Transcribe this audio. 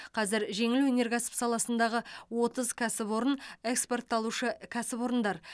қазір жеңіл өнеркәсіп саласындағы отыз кәсіпорын экспорттаушы кәсіпорындар